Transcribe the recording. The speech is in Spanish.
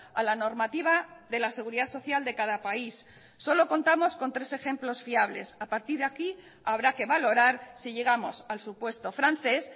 a la normativa de la seguridad social de cada país solo contamos con tres ejemplos fiables a partir de aquí habrá que valorar si llegamos al supuesto francés